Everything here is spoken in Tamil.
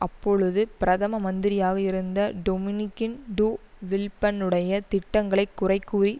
அப்பொழுது பிரதம மந்திரியாக இருந்த டொமினிக் டு வில்ப்பன்னுடைய திட்டங்களை குறை கூறி